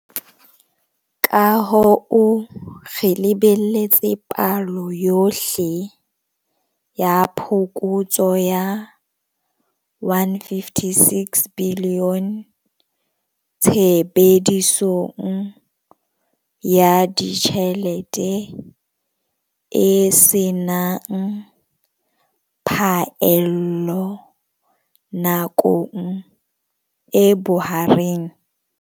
Ka hoo, re lebelletse palo yohle ya phokotso ya R156 bilione tshebedisong ya ditjhelete e se nang phaello nakong e bohareng.